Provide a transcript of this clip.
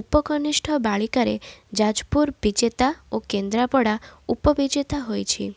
ଉପକନିଷ୍ଠ ବାଳିକାରେ ଯାଜପୁର ବିଜେତା ଓ କେନ୍ଦ୍ରପଡ଼ା ଉପବିଜେତା ହୋଇଛି